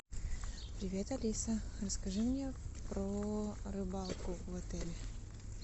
привет алиса расскажи мне про рыбалку в отеле